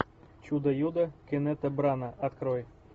чудо юдо кеннета брана открой